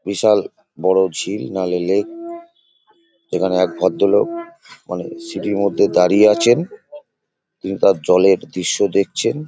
বিশাল বড় ঝিল নাহলে লেক । এখানে এক ভদ্রলোক মানে সিঁড়ির মধ্যে দাঁড়িয়ে আছেন কিংবা জলের দৃশ্য দেখছেন।